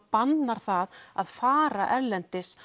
bannar það að fara erlendis